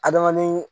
Adamaden